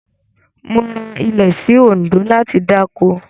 Mo ra ilẹ̀ sí Òǹdó láti dáko.